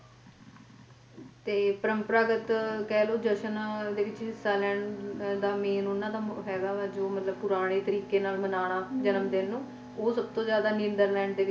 ਪਰੰਪਰਕਗਤ ਕਹਿ ਲੋ ਜਸ਼ਨ ਵਿੱਚ main ਓਹਨਾ ਦਾ ਹੈਗਾ ਮਤਲਬ ਜੋ ਪੁਰਾਣੇ ਨਾਲ ਮਨਾਉਣਾ ਉਹ ਸਭ ਤੋਂ ਜਾਂਦਾ ਨੀਦਰਲੈਂਡ ਦੇ ਵਿਚ